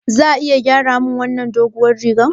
Za a iya gyara min wannan doguwar rigar?